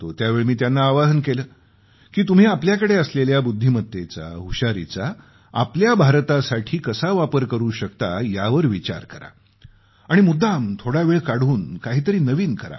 त्यावेळी मी त्यांना आवाहन केलं की तुम्ही आपल्याकडे असलेल्या बुद्धिमत्तेचा हुशारीचा आपल्या भारतासाठी कसा वापर करू शकता यावर विचार करा आणि मुद्दाम थोडा वेळ काढून काहीतरी नवीन करा